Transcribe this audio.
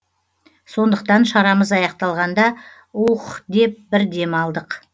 сондықтан шарамыз аяқталғанда уххх деп бір дем алдық